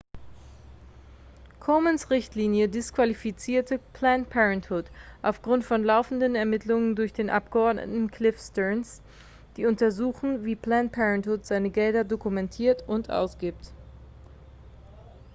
komens richtlinie disqualifizierte planned parenthood aufgrund von laufenden ermittlungen durch den abgeordneten cliff stearns die untersuchen wie planned parenthood seine gelder dokumentiert und ausgibt